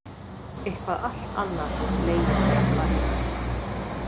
Eitthvað allt annað hefur legið þar að baki.